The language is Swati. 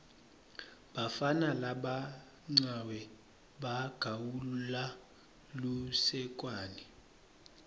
bafana labancawe bagawula lusekwane